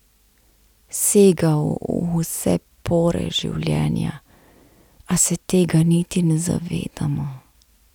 Sega v vse pore življenja, a se tega niti ne zavedamo.